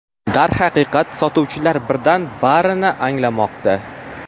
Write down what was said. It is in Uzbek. Darhaqiqat, sotuvchilar birdan barini anglamoqda.